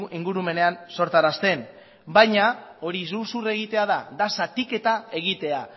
ingurumenean sortarazten baina hori iruzur egitea da da zatiketa egitea